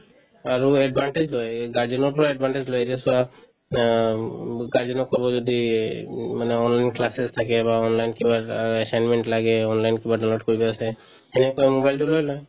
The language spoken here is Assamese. আৰু advantage লই guardian ৰ পৰা advantage লই যে চোৱা আ উম guardian ক ক'ব যদি এই উম মানে online classes থাকে বা online কিবা আ assignment লাগে online ত কিবা download কৰিব আছে সেনেকে কৈ mobile তো লৈ লয়